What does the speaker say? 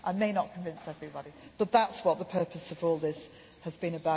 I may not convince everybody, but that is what the purpose of all this has